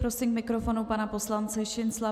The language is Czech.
Prosím k mikrofonu pana poslance Šincla.